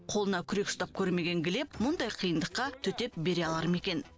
қолына күрек ұстап көрмеген глеб мұндай қиындыққа төтеп бере алар ма екен